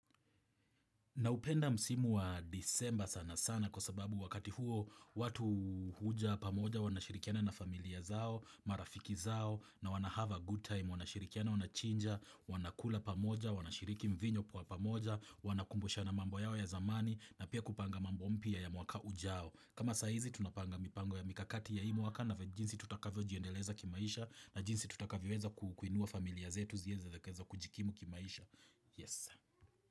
Naupenda msimu wa disemba sana sana kwa sababu wakati huo watu huja pamoja wanashirikiana na familia zao, marafiki zao na wana have a good time, wanashirikiana wanachinja, wanakula pamoja, wanashiriki mvinyo kwa pamoja, wanakumbusha na mambo yao ya zamani na pia kupanga mambo mpya ya mwaka ujao. Kama saizi tunapanga mipango ya mikakati ya hii mwaka na jinsi tutakavyojiendeleza kimaisha na jinsi tutakavyoweza kukiinua familia zetu zieze zikaeza kujikimu kimaisha. Yes.